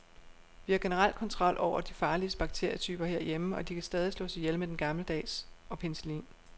Vi har generelt kontrol over de farligste bakterietyper herhjemme, og de kan stadig slås ihjel med den gammeldags og penicillin.